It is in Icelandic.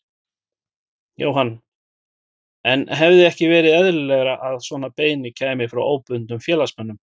Jóhann: En hefði ekki verið eðlilegra að svona beiðni kæmi frá óbundnum félagsmönnum?